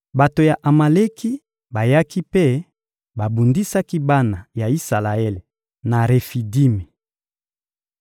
Bato ya Amaleki bayaki mpe babundisaki bana ya Isalaele na Refidimi.